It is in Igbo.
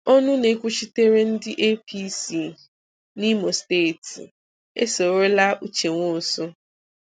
Ọnụ na-ekwuchitere ndị APC n'Imo steeti esorola Uche Nwosu